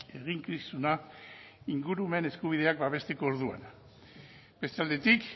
eginkizuna ingurumen eskubideak babesteko orduan beste aldetik